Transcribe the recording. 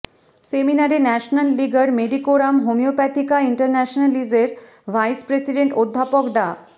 সেমিনারে ন্যাশনাল লিগার মেডিকোরাম হোমিওপ্যাথিকা ইন্টারন্যাশনালিসের ভাইস প্রেসিডেন্ট অধ্যাপক ডা